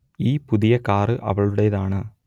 ഈ പുതിയ കാർ അവളുടെതാണ്